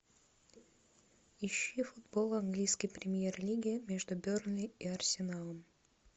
ищи футбол английской премьер лиги между бернли и арсеналом